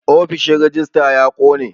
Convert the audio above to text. Ofishin rejista ya ƙone